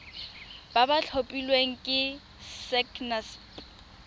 ba ba tlhophilweng ke sacnasp